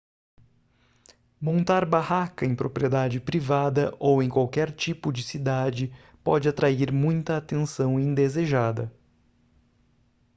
montar barraca em propriedade privada ou em qualquer tipo de cidade pode atrair muita atenção indesejada